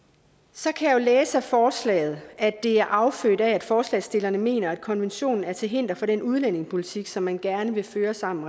så kan læse af forslaget at det er affødt af at forslagsstillerne mener at konventionen er til hinder for den udlændingepolitik som man gerne vil føre sammen